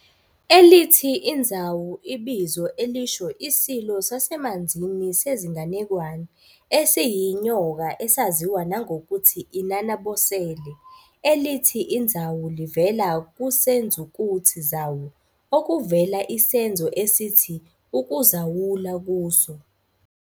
Elithi iNzawu ibizo elisho isilo sasemanzini sezinganekwane, esiyinyoka esaziwa nangokuthi 'uNanabosele'. Elithi iNzawu livela kusenzukuthi "zawu", okuvela isenzo esithi "ukuzawula" kuso.